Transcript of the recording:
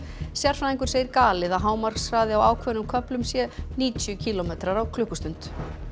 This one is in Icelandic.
sérfræðingur segir það galið að hámarkshraði á ákveðnum köflum sé níutíu kílómetrar á klukkustund